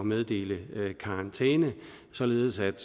meddele karantæne således at